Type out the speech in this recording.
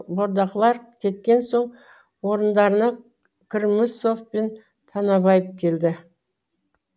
бордақылар кеткен соң орындарына кірмесов пен танабаев келді